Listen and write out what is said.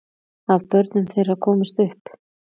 Af börnum þeirra komust upp